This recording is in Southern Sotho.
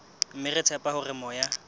mme re tshepa hore moya